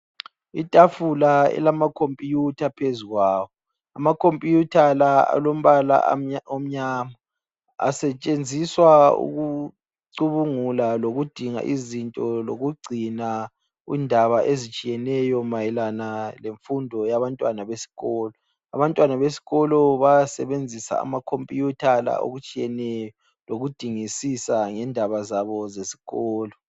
Itafula elamakhompuyutha phezukwayo amakhompuyutha la alombala omnyama asetshenziswa ukucubungula lokudinga izinto, lokugcina indaba ezitshiyeneyo mayelana lemfundo yabantwana besikolo. Abantwana bayawasebenzisa amakhomputha la okutshiyeneyo lokudingisisa ngendaba zabo zesikolo.